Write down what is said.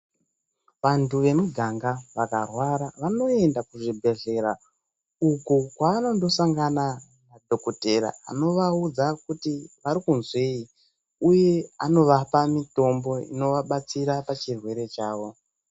Vantu vemuganga vakarwara vanoenda kuzvibhledhlera uko kwavanondosangana nadhokotera unovaudza kuti varikuzwei uye anovapa mitombo inovabatsira pachirwere chavo.